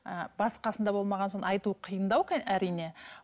ііі басы қасында болмаған соң айту қиындау әрине